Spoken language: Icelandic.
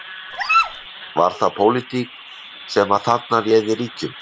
Er, var það pólitík sem að þarna réði ríkjum?